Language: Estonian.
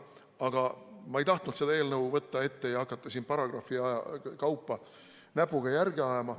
Aga ma ei tahtnud võtta seda eelnõu ette ja hakata siin paragrahvide kaupa näpuga järge ajama.